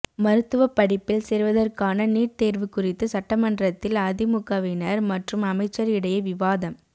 மருத்துவப் படிப்பில் சேர்வதற்கான நீட் தேர்வு குறித்து சட்டமன்றத்தில் அதிமுகவினர் மற்றும் அமைச்சர் இடையே விவாதம்